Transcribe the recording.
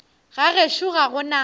ga gešo ga go na